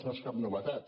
no és cap novetat